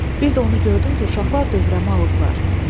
Bir də onu gördüm ki, uşaqlar dövrəmə alıblar.